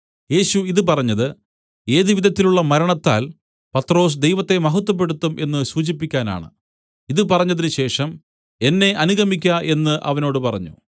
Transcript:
യേശു ഇതു പറഞ്ഞത് ഏത് വിധത്തിലുള്ള മരണത്താൽ പത്രൊസ് ദൈവത്തെ മഹത്വപ്പെടുത്തും എന്നു സൂചിപ്പിക്കാനാണ് ഇതു പറഞ്ഞതിനുശേഷം എന്നെ അനുഗമിക്ക എന്നു അവനോട് പറഞ്ഞു